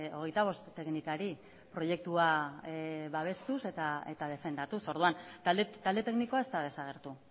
hogeita bost teknikari proiektua babestuz eta defendatuz orduan talde teknikoa ez da desagertu